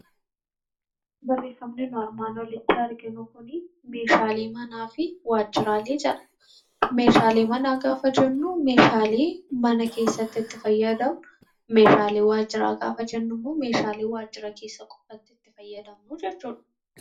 Meeshaalee manaa jechuun meeshaalee mana keessatti itti fayyadamnu yoo ta'u meeshaalee waajjira jechuun immoo meeshaalee waajjira keessatti itti fayyadamnu jechuudha.